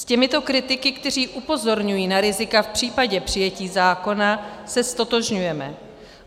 S těmito kritiky, kteří upozorňují na rizika v případě přijetí zákona, se ztotožňujeme.